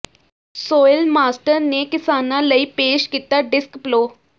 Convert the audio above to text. soil master ਨੇ ਕਿਸਾਨਾ ਲਈ ਪੇਸ਼ ਕੀਤਾ ਡਿਸਕ ਪਲੋ